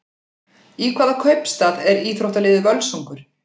Í hvaða kaupstað er íþróttaliðið Völsungur?